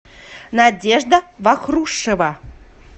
надежда вахрушева